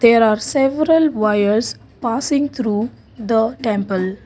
There are several wires passing through the temple.